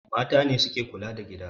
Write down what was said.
Mata ne suke kula da gida